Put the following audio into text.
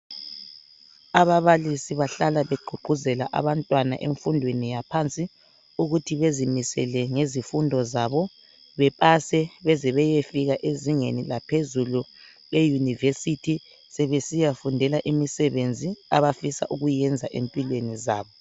Ababalisi bahlala beququzela abantwana emfundweni yaphansi ukuthi bezimisele ngezifundo zabo. Bepase beze beyefika ezingeni laphezulu leyunivesithi sebesiyafundela imisebenzi abafisa ukuyenza empilweni zabo.